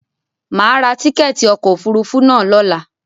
Mà a ra tíkẹ̀ẹ̀ti ọkò òfurufú na lọ́la.